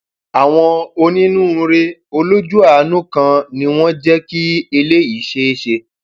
àwọn onínúure olójú àánú kan ni wọn jẹ kí eléyìí ṣeé ṣe